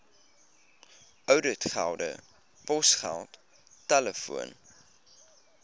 ouditgelde posgeld telefoon